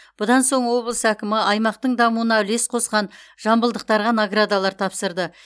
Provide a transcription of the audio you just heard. бұдан соң облыс әкімі аймақтың дамуына үлес қосқан жамбылдықтарға наградалар тапсырды